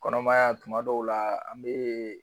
Kɔnɔmaya tuma dɔw la an bɛ